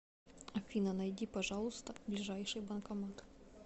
афина найди пожалуйста ближайший банкомат